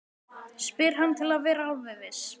spyr hann til að vera alveg viss.